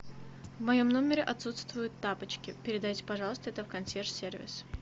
в моем номере отсутствуют тапочки передайте пожалуйста это в консьерж сервис